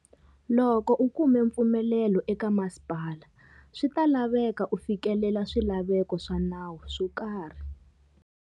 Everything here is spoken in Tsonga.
Loko u kume mpfumelelo eka masipala, swi ta laveka u fikelela swilaveko swa nawu swo karhi.